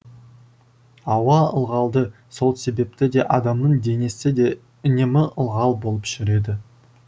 ауа ылғалды сол себепті де адамның денесі де үнемі ылғал болып жүреді